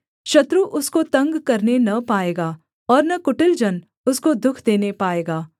शत्रु उसको तंग करने न पाएगा और न कुटिल जन उसको दुःख देने पाएगा